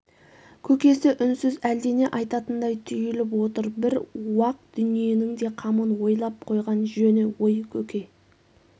көкесі үнсіз әлдене айтатындай түйіліп отыр бір уақ дүниенің де қамын ойлап қойған жөні ой көке